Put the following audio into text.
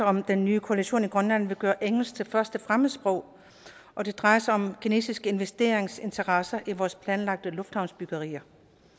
om den nye koalition i grønland vil gøre engelsk til første fremmedsprog og det drejer sig om kinesiske investeringsinteresser i vores planlagte lufthavnsbyggerier